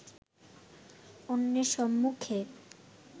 অন্যের সম্মুখে